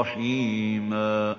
رَّحِيمًا